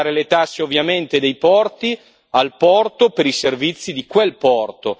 Lasciare le tasse ovviamente dei porti al porto per i servizi di quel porto.